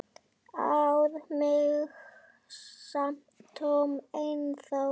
ar mig samt Tom ennþá.